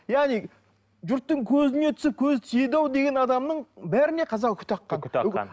яғни жұрттың көзіне түсіп көзі тиеді ау деген адамның бәріне қазақ үкі таққан үкі таққан